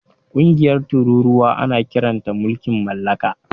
Ƙungiyar tururuwa ana kiranta mulkin mallaka.